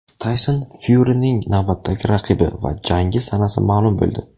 Tayson Fyurining navbatdagi raqibi va jangi sanasi ma’lum bo‘ldi.